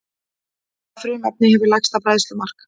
Hvaða frumefni hefur lægsta bræðslumark?